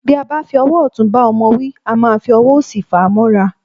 Bí a bá fi ọwọ́ ọ̀tún bá ọmọ wí, a máa fi ọwọ́ òsì fàá mọ́ra.